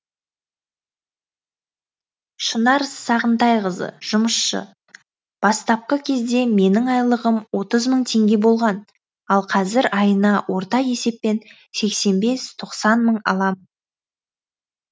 шынар сағынтайқызы жұмысшы бастапқы кезде менің айлығым отыз мың теңге болған ал қазір айына орта есеппен сексен бес тоқсан мың аламын